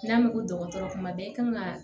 N'a ko ko dɔgɔtɔrɔ kuma bɛɛ i kan ka